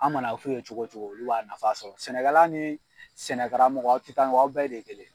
An man'a f'u ye cogo cogo olu b'a nafa sɔrɔ. Sɛnɛkɛla ni sɛnɛ karamɔgɔ aw ti taa ŋɔ, aw bɛɛ de kelen.